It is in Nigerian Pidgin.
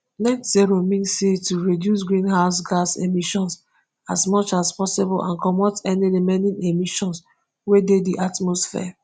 net zero mean say to reduce greenhouse gas emissions as much as possible and comot any remaining emissions wey dey di atmosphere